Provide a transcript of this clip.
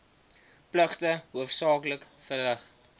pligte hoofsaaklik verrig